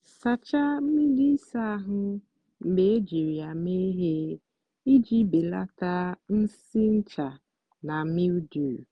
sachaa mgbidi ịsa ahụ mgbe ejiri ya mee ihe iji belata nsị ncha na mildew.